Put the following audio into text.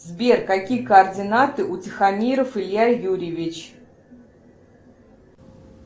сбер какие координаты у тихомиров илья юрьевич